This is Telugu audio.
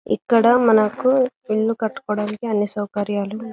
ఇక్కడ మనకు ఇల్లు కట్టుకోవడానికి అన్ని సౌకర్యాలు --